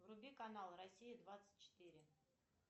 вруби канал россия двадцать четыре